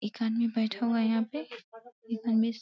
एक आदमी बैठा हुआ है यहाँ पे --